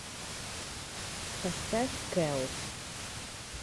поставь кэлл